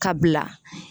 Ka bila